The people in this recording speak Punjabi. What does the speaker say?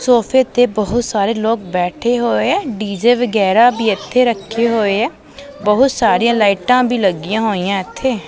ਸੋਫੇ ਤੇ ਬਹੁਤ ਸਾਰੇ ਲੋਕ ਬੈਠੇ ਹੋਏ ਐ ਡੀ_ਜੇ ਵਗੈਰਾ ਵੀ ਇੱਥੇ ਰੱਖੇ ਹੋਏ ਐ ਬਹੁਤ ਸਾਰੀਆਂ ਲਾਈਟਾਂ ਵੀ ਲੱਗੀਆਂ ਹੋਈਆਂ ਇੱਥੇ।